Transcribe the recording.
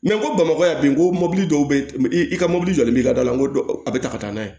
n ko bamakɔ yan ko mobili dɔw bɛ i ka mobili jɔli bila n ko a bɛ taa ka taa n'a ye